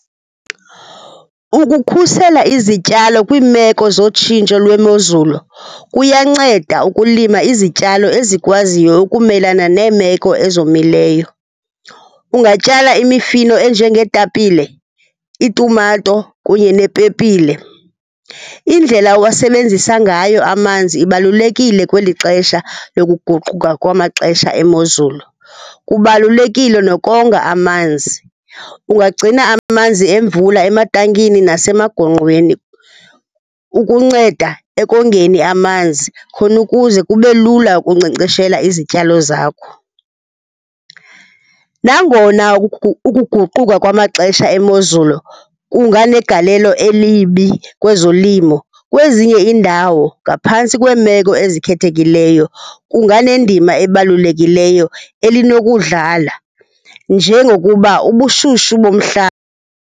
Ukukhusela izityalo kwiimeko zotshintsho lwemozulu kuyanceda ukulima izityalo ezikwaziyo ukumelana neemeko ezomileyo. Ungatyala imifino enjengeetapile, itumato kunye nepepile. Indlela owasebenzisa ngayo amazinzi ibalulekile kweli xesha lokuguquka kwamaxesha emozulu. Kubalulekile nokonga amanzi. Ungagcina amanzi emvula ematankini nasemagongqweni ukunceda ekongeni amanzi khona ukuze kube lula ukunkcenkceshela izityalo zakho. Nangona ukuguquka kwamaxesha emozulu kunganegalelo elibi kwezolimo, kwezinye iindawo ngaphantsi kweemeko ezikhethekileyo kunganendima ebalulekileyo elinokuwudlala njengokuba ubushushu .